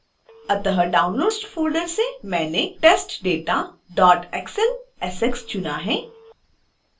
अत: downloads folder से मैंने testdataxlsx चुना है